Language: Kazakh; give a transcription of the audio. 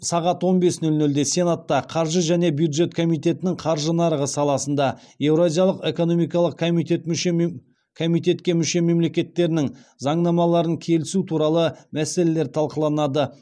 сағат он бес нөл нөлде сенатта қаржы және бюджет комитетінің қаржы нарығы саласында еуразиялық экономикалық комитетке мүше мемлекеттерінің заңнамаларын келісу туралы мәселелер талқыланады